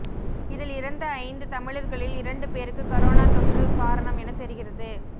இதில் இறந்த ஐந்து தமிழர்களில் இரண்டு பேருக்கு கரோனா தொற்று காரணம் எனத் தெரிகிறது